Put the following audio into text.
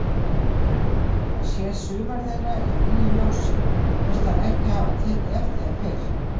Hann sér sumar þeirra í nýju ljósi, finnst hann ekki hafa tekið eftir þeim fyrr.